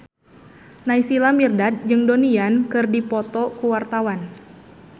Naysila Mirdad jeung Donnie Yan keur dipoto ku wartawan